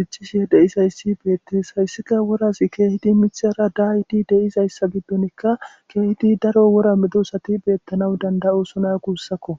dichchishe deizayssi beettees hayssika worasi keehidi mithara daayiti deizayssa giddonikka keehidi daro wora medosati beettanaw danda'osona guussakko